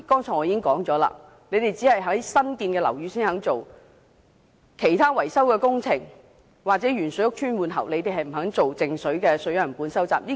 正如我剛才說過，當局只在新建樓宇收集靜止水樣本，就其他維修工程或受鉛水影響屋邨的換喉工程，卻未有進行靜止水樣本收集。